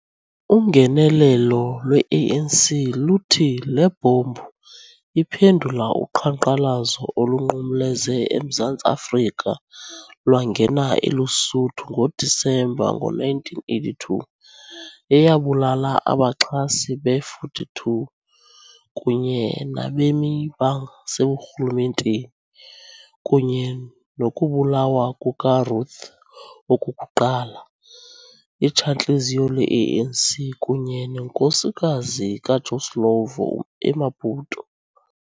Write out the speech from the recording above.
Ungenelelo lwe-ANC luthi le bhombu iphendula uqhankqalazo olunqumleze eMzantsi-Afrika lwangena eLesotho ngoDisemba ngo-1982 eyabulala abaxhasi be-42 kunye nabemi baseburhulumenteni, kunye nokubulawa kukaRuth Okokuqala, Itshantliziyo le-ANC kunye nenkosikazi kaJoe Slovo, eMaputo.